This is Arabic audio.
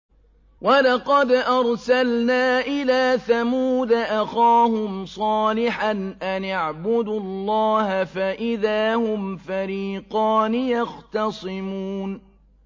وَلَقَدْ أَرْسَلْنَا إِلَىٰ ثَمُودَ أَخَاهُمْ صَالِحًا أَنِ اعْبُدُوا اللَّهَ فَإِذَا هُمْ فَرِيقَانِ يَخْتَصِمُونَ